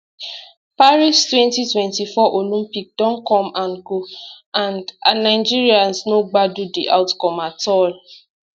paris twenty twenty four olympic don come and go and and nigerians no gbadun di outcome at all